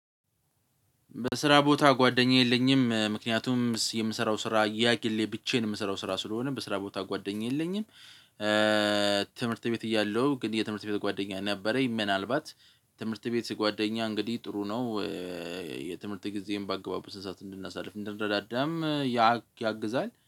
በስራ ቦታ ጓደኛ የለኝም ምክንያቱም የምሰራው ስራ የጊሌ ብቻዬን የምሰራው ስራ ስለሆነ በስራ ቦታ ጓደኛ የለኝም። ትምህርት ቤት እያለሁ ግን የትምህርት ቤት ጓደኛ ነበረኝ ምናልባት ትምህርት ቤት ጓደኛ እንግዲህ ጥሩ ነው። የትምህርት ጊዜም በአግባቡ ስንት ሰዓት እንድናሳልፍ እንድንረዳዳም። ያግዛል